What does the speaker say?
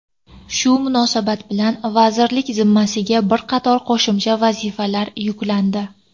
Shu munosabat bilan vazirlik zimmasiga bir qator qo‘shimcha vazifalar yuklandi.